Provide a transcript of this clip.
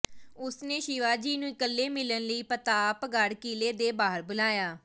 ਉਸ ਨੇ ਸ਼ਿਵਾਜੀ ਨੂੰ ਇਕੱਲੇ ਮਿਲਣ ਲਈ ਪ੍ਰਤਾਪਗੜ੍ਹ ਕਿਲ੍ਹੇ ਦੇ ਬਾਹਰ ਬੁਲਾਇਆ